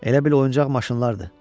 Elə bil oyuncaq maşınlardır.